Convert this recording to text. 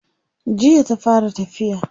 Jiya ta fara tafiya.